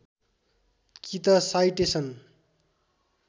कि त साइटेसन